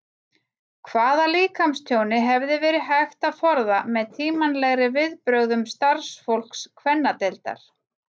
Hvaða líkamstjóni hefði verið hægt að forða með tímanlegri viðbrögðum starfsfólks kvennadeildar?